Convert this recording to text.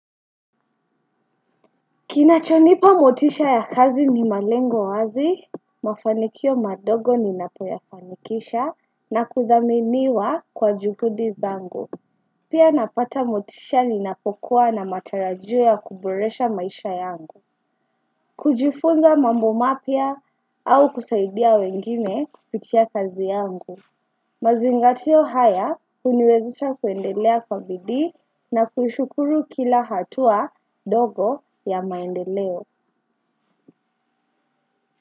Kinachonipa motisha ya kazi ni malengo wazi, mafanikio madogo ni napoyafanikisha na kuthaminiwa kwa juhudi zangu. Pia napata motisha ni napokuwa na matarajio ya kuboresha maisha yangu. Kujifunza mambo mapia au kusaidia wengine kupitia kazi yangu. Mazingatio haya uniwezesha kuendelea kwa bidii na kushukuru kila hatua dogo ya maendeleo.